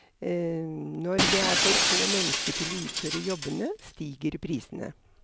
Når det er for få mennesker til å utføre jobbene, stiger prisene.